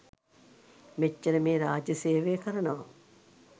මෙච්චර මේ රාජ්‍ය සේවය කරනවා